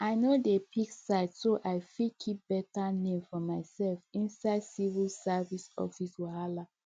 i no dey pick side so i fit keep better name for myself inside civil service office wahala